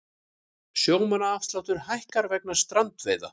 Sjómannaafsláttur hækkar vegna strandveiða